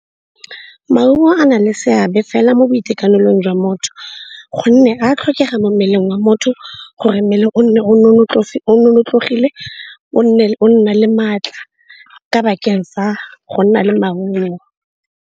Maungo a na le seabe fela mo boitekanelong jwa motho gonne a tlhokega mo mmeleng wa motho gore mmele o nne o nonofile, o nne o nna le maatla ka bakeng fa go nna le maungo.